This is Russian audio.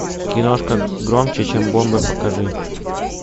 киношка громче чем бомбы покажи